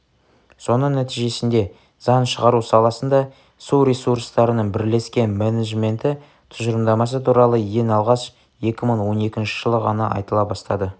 соның нтижесінде заң шығару саласында су ресурстарының бірлескен менеджменті тұжырымдамасы туралы ең алғаш 2012 жылы ғана айтыла бастады